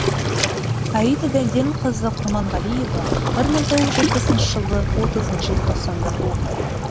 аида дәденқызы құрманғалиева бір мың тоғыз жүз жетпісінші жылы отызыншы желтоқсанда туған